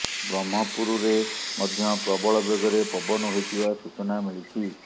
ବ୍ରହ୍ମପୁରରେ ମଧ୍ୟ ପ୍ରବଳ ବେଗରେ ପବନ ହୋଇଥିବା ସୂଚନା ମିଳିଛି